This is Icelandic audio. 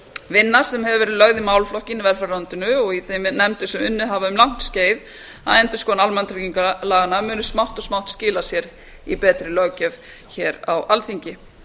vinna sem hefur verið lögð í málaflokkinn í velferðarráðuneytinu og í þeim nefndum sem unnið hafa um langt skeið að endurskoðun almannatryggingalaganna muni smátt og smátt skila sér í betri löggjöf hér á alþingi